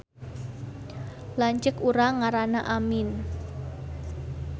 Lanceuk urang ngaranna Amin